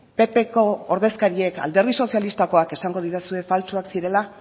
ppko ordezkariek alderdi sozialistakoak esango didazue faltsuak zirela